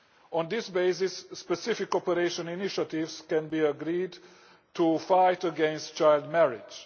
On this basis, specific cooperation initiatives can be agreed to fight against child marriage.